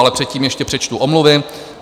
Ale předtím ještě přečtu omluvy.